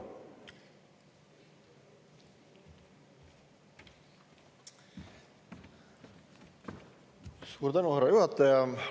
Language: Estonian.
Suur tänu, härra juhataja!